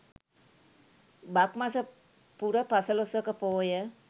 බක් මස පුර පසළොස්වක පෝය